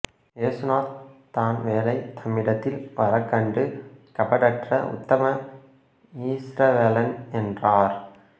இயேசு நாத்தான்வேலை தம்மிடத்தில் வரக்கண்டு கபடற்ற உத்தம இஸ்ரவேலன் என்றார்